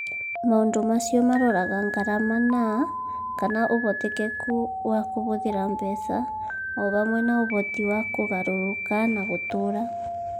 Maũndũ macio maroraga ngarama na/kana ũhotekeku wa kũhũthĩra mbeca, o hamwe na ũhoti wa kũgarũrũka na gũtũũra.